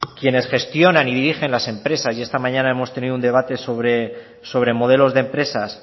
quienes gestionan y dirigen las empresas y esta mañana hemos tenido un debate sobre modelos de empresas